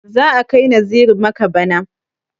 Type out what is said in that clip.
Za a kai Naziru makka bana.